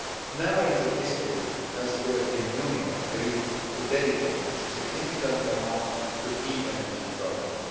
Never before has the European Union agreed to dedicate such a significant amount to key energy projects.